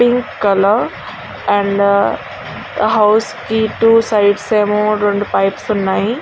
Pink colour and housing కి two sides అమో టో పైప్స్ ఉన్నాయి.